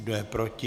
Kdo je proti?